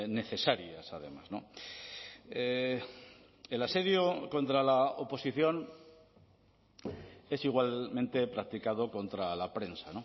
necesarias además el asedio contra la oposición es igualmente practicado contra la prensa